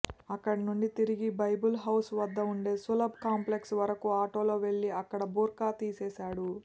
అక్కడి నుంచి తిరిగి బైబుల్ హౌస్ వద్ద ఉండే సులభ్ కాంప్లెక్స్ వరకు ఆటోలో వెళ్లి అక్కడ బుర్కా తీసేశాడు